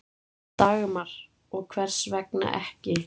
Dagmar: Og hvers vegna ekki?